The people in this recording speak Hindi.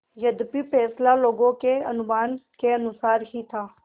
यद्यपि फैसला लोगों के अनुमान के अनुसार ही था